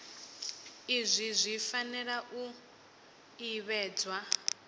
izwi zwi fanela u ḓivhadzwa